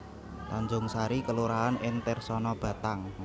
Tanjungsari kelurahan ing Tersana Batang